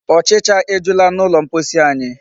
Ụchịcha ejula n'ụlọ mposi anyị.